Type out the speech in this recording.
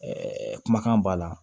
Ɛɛ kumakan b'a la